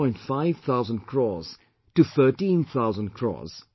5 thousand crores to 13 thousand crores